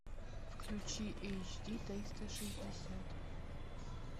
включи эйч ди триста шестьдесят